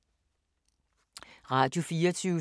Radio24syv